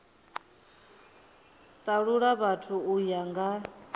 talula vhathu u ya nga